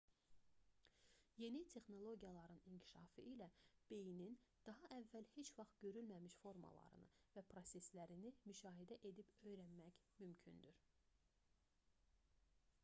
yeni texnologiyaların inkişafı ilə beynin daha əvvəl heç vaxt görülməmiş formalarını və proseslərini müşahidə edib öyrənmək mümkündür